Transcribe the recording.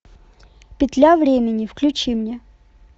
петля времени включи мне